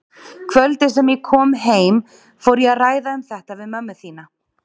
Kvöldið sem ég kom heim fór ég að ræða um þetta við mömmu þína.